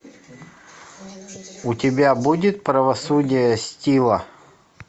у тебя будет правосудие стива